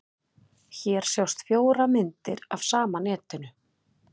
Hér sjást fjórar myndir af sama netinu.